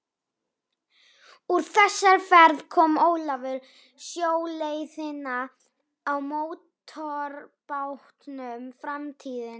Úr þessari ferð kom Ólafur sjóleiðina á mótorbátnum Framtíðinni.